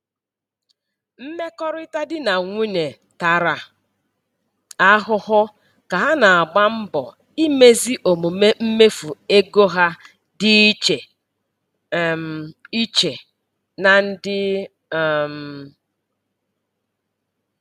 Mmekọrịta di na nwunye tara ahụhụ ka ha na-agba mbọ imezi omume mmefu ego ha dị iche um iche na ndị. um